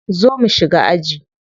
Zo mu shiga aji.